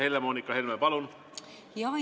Helle-Moonika Helme, palun!